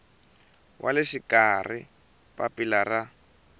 wa le xikarhi papila ra